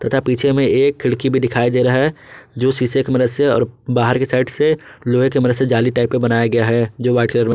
तथा पीछे में एक खिड़की भी दिखाई दे रहा है जो शीशे की मदद से और बाहर के साइड से लोहे की मदद से जाली टाइप का बनाया गया है जो वाइट कलर में--